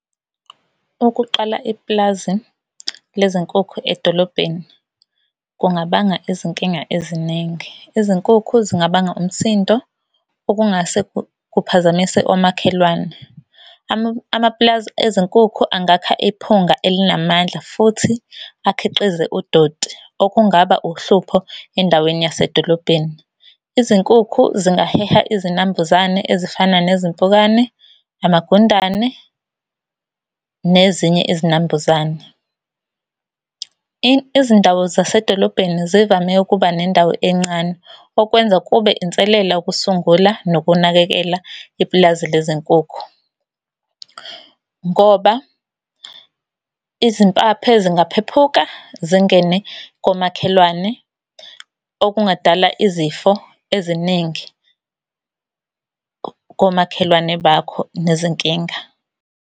Ukuqala ipulazi lezinkukhu edolobheni kungabanga izinkinga eziningi. Izinkukhu zingabanga umsindo okungase kuphazamise omakhelwane. Amapulazi ezinkukhu angakha iphunga elinamandla futhi akhiqize udoti, okungaba uhlupho endaweni yasedolobheni. Izinkukhu zingaheha izinambuzane ezifana nezimpukane, amagundane, nezinye izinambuzane. Izindawo zasedolobheni zivame ukuba nendawo encane, okwenza kube inselela ukusungula nokunakekela ipulazi lezinkukhu. Ngoba izimpaphe zingaphephuka zingene komakhelwane, okungadala izifo eziningi komakhelwane bakho nezinkinga.